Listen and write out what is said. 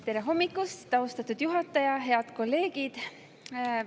Tere hommikust, austatud juhataja ja head kolleegid!